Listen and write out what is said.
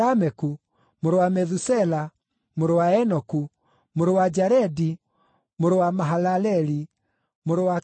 mũrũ wa Methusela, mũrũ wa Enoku, mũrũ wa Jaredi, mũrũ wa Mahalaleli, mũrũ wa Kenani,